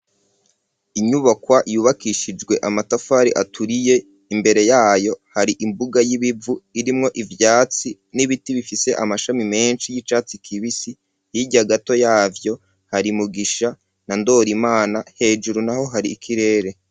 Inyubakwa, yubakishijwe amatafari aturiye, imbere yayo, hari imbuga y'ibivu, irimwo ivyatsi n'ibiti, bifise amashami menshi, y'icatsi kibisi; hirya gato yavyo, hari Mugisha na Ndorimana; hejuru naho, hari ikirere.